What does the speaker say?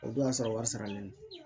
O dɔ y'a sɔrɔ wari saralen don